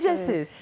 Necəsiz?